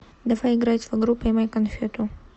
давай играть в игру поймай конфету